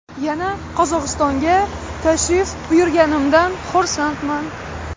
Yana Qozog‘istonga tashrif buyurganimdan xursandman.